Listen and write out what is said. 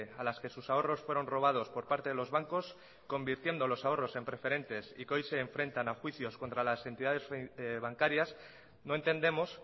a las que sus ahorros fueron robados por parte de los bancos convirtiendo los ahorros en preferentes y que hoy se enfrentan a juicios contra las entidades bancarias no entendemos